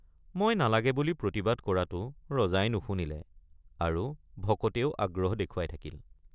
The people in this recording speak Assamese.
মই নালাগে বুলি প্ৰতিবাদ কৰাতো ৰজাই নুশুনিলে আৰু ভকতেও আগ্ৰহ দেখুৱাই থাকিল।